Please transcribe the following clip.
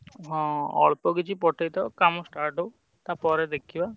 ହଁ ଅଳ୍ପ କିଛି ପଠେଇ ଥାଅ କାମ start ହଉ ତାପରେ ଦେଖିବା।